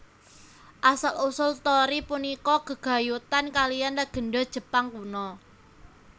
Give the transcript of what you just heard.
Asal usul torii punika gegayutan kalihan legènda Jepang kuno